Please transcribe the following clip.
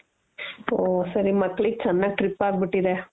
ಹೋ ಸರಿ ಮಕ್ಳಿಗ್ ಚೆನ್ನಾಗಿ trip ಆಗ್ಬಿಟ್ಟಿದೆ.